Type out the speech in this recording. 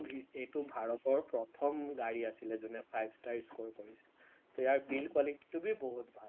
এইটো ভাৰতৰ প্ৰথম গাড়ী আছিলে যোনে five star score কৰিছে, তো ইয়াৰ built টো বহুত ভাল